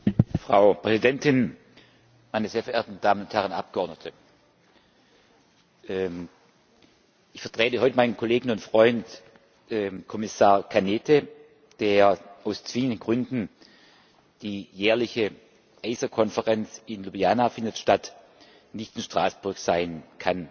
Frau Präsidentin, meine sehr verehrten Damen und Herren Abgeordneten! Ich vertrete heute meinen Kollegen und Freund, Kommissar Arias Cañete, der aus zwingenden Gründen die jährliche ACER Konferenz in Ljubljana findet statt nicht in Straßburg sein kann.